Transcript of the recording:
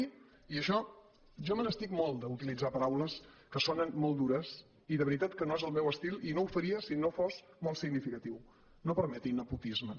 i això jo me n’estic molt d’utilitzar paraules que sonen molt dures i de veritat que no és el meu estil i no ho faria si no fos molt significatiu no permeti nepotismes